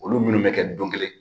Olu minnu mɛ kɛ don kelen.